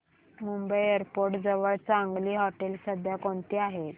Mumbai airport जवळ चांगली हॉटेलं सध्या कोणती आहेत